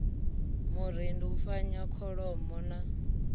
murendi u fanyisa kholomo na